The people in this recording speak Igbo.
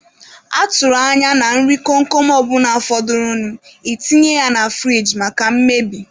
A tụrụ anya na nri kom kom ọ bụla fọdụrụnụ, e tinye ya na furige maka mmebi.